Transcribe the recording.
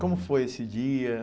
Como foi esse dia?